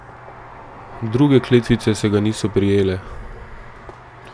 Druge kletvice se ga niso prijele.